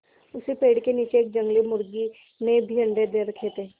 उसी पेड़ के नीचे एक जंगली मुर्गी ने भी अंडे दे रखें थे